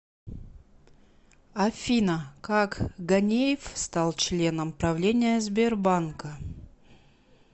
афина как ганеев стал членом правления сбербанка